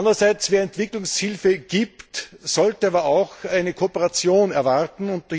Andererseits Wer Entwicklungshilfe leistet, sollte auch eine Kooperation erwarten.